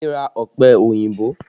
Adé ra ọpẹ òyìnbó